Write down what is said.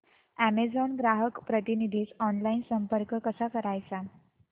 Amazon ग्राहक प्रतिनिधीस online संपर्क कसा करायचा